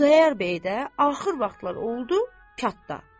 Xudayar bəy də axır vaxtlar oldu, çatdı.